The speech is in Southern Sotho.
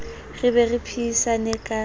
re be re phehisane ka